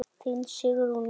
Þín Sigrún Eva.